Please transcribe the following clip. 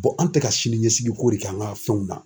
an tɛ ka sini ɲɛsigiko de kɛ an ka fɛnw na.